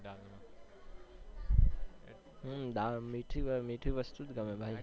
હમ્મ બા મીઠી મીઠી વસ્તુજ ગમે ભાઈ